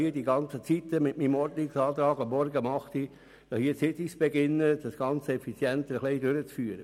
Meine Idee war es, um 08.00 Uhr morgens mit den Sitzungen zu beginnen, um alles effizienter abwickeln zu können.